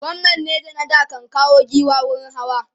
gwamnan neja na da ya kan kawo giwa wurin hawa